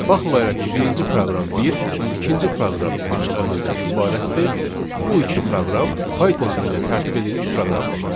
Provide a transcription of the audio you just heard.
Baxmayaraq ki, birinci proqram bir, ikinci proqram üç əmrdən ibarətdir, bu iki proqram Python dilində tərtib edilmiş proqramdır.